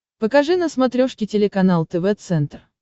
покажи на смотрешке телеканал тв центр